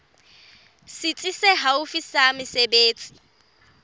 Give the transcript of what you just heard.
setsi se haufi sa mesebetsi